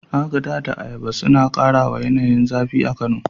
Agada da ayaba suna kara wa yanayin zafi a Kano.